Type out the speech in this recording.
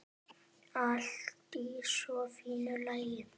Allt í svo fínu lagi.